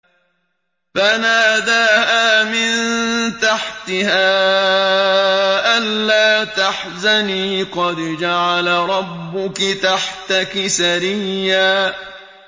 فَنَادَاهَا مِن تَحْتِهَا أَلَّا تَحْزَنِي قَدْ جَعَلَ رَبُّكِ تَحْتَكِ سَرِيًّا